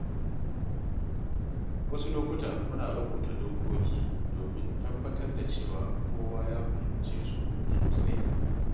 Wasu lokuta muna rubuta dokoki domin tabbatar da cewa kowa ya fahimce su sosai.